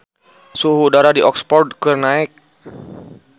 Suhu udara di Oxford keur naek